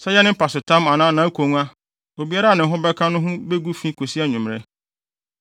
Sɛ ɛyɛ ne mpasotam anaa nʼakongua, obiara a ne ho bɛka no ho begu fi akosi anwummere.